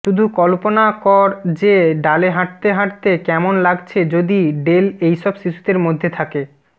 শুধু কল্পনা কর যে ডালে হাঁটতে হাঁটতে কেমন লাগছে যদি ডেল এইসব শিশুদের মধ্যে থাকে